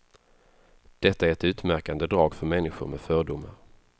Detta är ett utmärkande drag för människor med fördomar.